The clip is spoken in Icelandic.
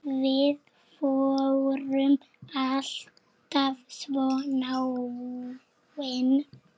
Við vorum alltaf svo náin.